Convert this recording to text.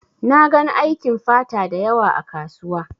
Na gan aikin fata dayawa ã kasuwa.